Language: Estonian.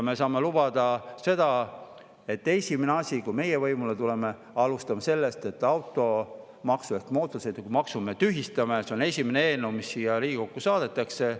Me saame lubada, et esimese asjana, kui meie võimule tuleme, alustame sellest, et automaksu ehk mootorsõidukimaksu me tühistame – see on esimene eelnõu, mis siia Riigikokku saadetakse.